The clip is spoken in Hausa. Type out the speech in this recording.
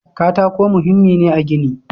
Katako muhimmi ne a gini.